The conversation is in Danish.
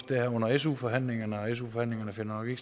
det her under su forhandlingerne su forhandlingerne finder jo